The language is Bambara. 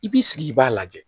I b'i sigi i b'a lajɛ